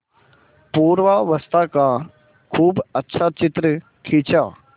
पूर्वावस्था का खूब अच्छा चित्र खींचा